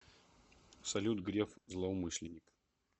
салют греф злоумышленник